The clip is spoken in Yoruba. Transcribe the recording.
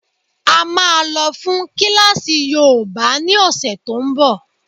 A máa lọ fún kílásì yoòbá ní ọ̀sẹ̀ tó n bọ̀